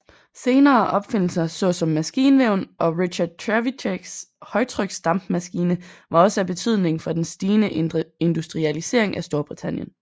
Senere opfindelser såsom maskinvæven og Richard Trevithicks højtryksdampmaskine var også af betydning for den stigende industrialisering af Storbritannien